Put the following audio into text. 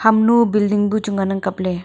hamnu building nu chu ngan ang kapley.